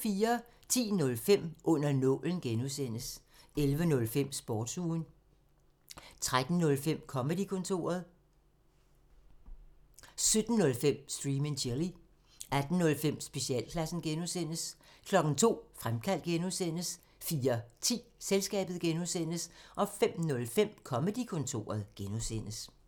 10:05: Under nålen (G) 11:05: Sportsugen 13:05: Comedy-kontoret 17:05: Stream and chill 18:05: Specialklassen (G) 02:00: Fremkaldt (G) 04:10: Selskabet (G) 05:05: Comedy-kontoret (G)